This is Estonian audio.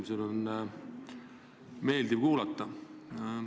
Seda on meeldiv näha.